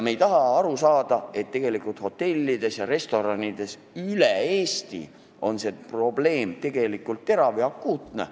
Me ei taha aru saada, et hotellides ja restoranides üle Eesti on see probleem terav ja akuutne.